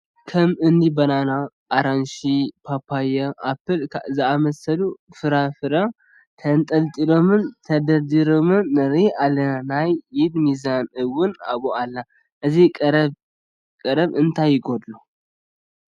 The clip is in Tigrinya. ከም እኒ በናና፣ ኣራንሺ፣ ፓፓየ፣ ኣፕል ዝኣምሰሉ ፍራምረ ተንጠልጢሎምን ተደርዲሮምን ንርኢ ኣለና፡፡ ናይ ኢድ ሚዛን እውን ኣብኡ ኣላ፡፡ እዚ ቀረብ እንታይ ይጐድሎ?